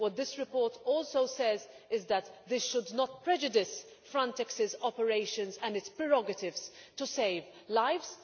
This report also says that this should not prejudice Frontex's operations and its prerogatives to save lives.